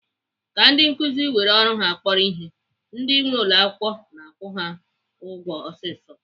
Ka ndị nkuzi were ọrụ ha kpọrọ ihe, ndi nwee ụlọakwụkwọ na-akwụ ha ụgwọ ọsịsọ.